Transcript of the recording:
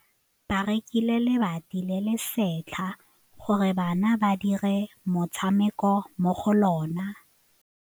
Ba rekile lebati le le setlha gore bana ba dire motshameko mo go lona.